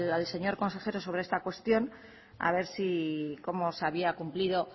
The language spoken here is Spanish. al señor consejero sobre esta cuestión a ver cómo se había cumplido